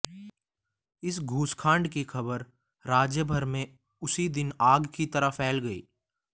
इस घूसकांड की खबर राज्यभर में उसी दिन आग की तरह फैल गई